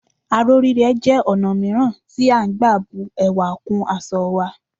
Aró rírẹ́ jẹ́ ọ̀nà mìíràn tí à ń gbà bu ẹwà kún aṣọ wa